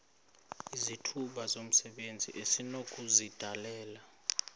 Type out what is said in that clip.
izithuba zomsebenzi esinokuzidalela